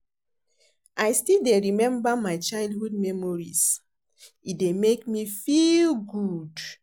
I still dey remember my childhood memories, e dey make me feel good.